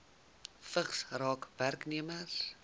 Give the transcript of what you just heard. vigs raak werknemers